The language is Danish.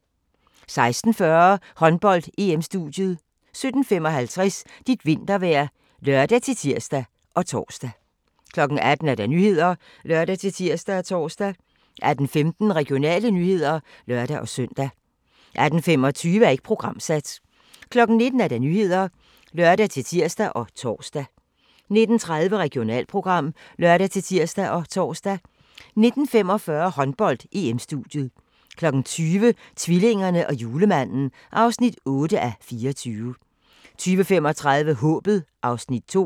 16:40: Håndbold: EM-studiet 17:55: Dit vintervejr (lør-tir og tor) 18:00: Nyhederne (lør-tir og tor) 18:15: Regionale nyheder (lør-søn) 18:25: Ikke programsat 19:00: Nyhederne (lør-tir og tor) 19:30: Regionalprogram (lør-tir og tor) 19:45: Håndbold: EM-studiet 20:00: Tvillingerne og julemanden (8:24) 20:35: Håbet (Afs. 2)